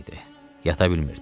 Yata bilmirdi.